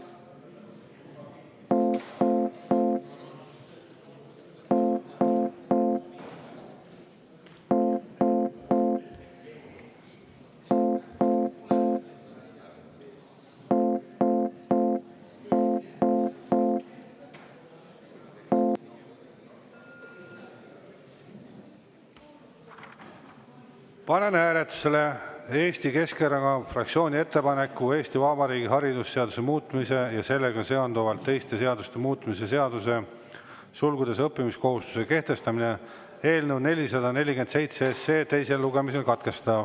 Panen hääletusele Eesti Keskerakonna fraktsiooni ettepaneku Eesti Vabariigi haridusseaduse muutmise ja sellega seonduvalt teiste seaduste muutmise seaduse eelnõu 447 teine lugemine katkestada.